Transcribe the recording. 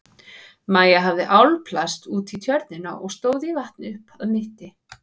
Maja hafði álpast út í tjörnina og stóð í vatni upp að mitti.